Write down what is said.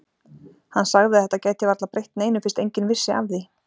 Hann sagði að þetta gæti varla breytt neinu fyrst enginn vissi af því.